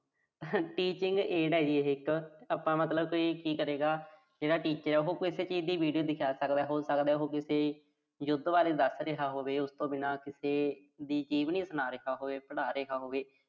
teaching aid ਆ, ਇਹੇ ਜੀ ਇੱਕ। ਆਪਾਂ ਮਤਲਬ ਕੋਈ ਕੀ ਕਰੇਗਾ। ਜਿਹੜਾ teacher ਆ ਉਹੋ ਕੋਈ ਇੱਕ ਚੀਜ਼ ਦੀ ਵੀਡੀਓ ਦਿਖਾ ਸਕਦਾ। ਜਿਵੇਂ ਉਹੋ ਕਿਸੇ, ਯੁੱਧ ਬਾਰੇ ਦੱਸ ਰਿਹਾ ਹੋਵੇ। ਉਸ ਤੋਂ ਬਿਨਾਂ ਕਿਸੇ ਦੀ ਜੀਵਨੀ ਸੁਣਾ ਰਿਹਾ ਹੋਵੇ, ਪੜ੍ਹਾ ਰਿਹਾ ਹੋਵੇ।